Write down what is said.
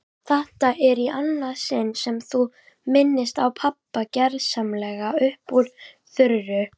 Þetta er í annað sinn sem þú minnist á pabba gersamlega upp úr þurru.